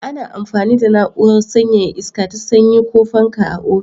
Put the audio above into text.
Ana amfani da na'urar sanyaya iska ta sanyi ko fanka a ofis.